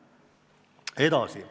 Edasi.